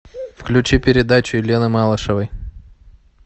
включи передачу елены малышевой